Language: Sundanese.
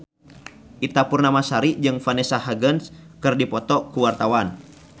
Ita Purnamasari jeung Vanessa Hudgens keur dipoto ku wartawan